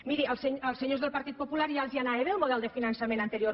miri als senyors del partit popular ja els anava bé el model de finançament anterior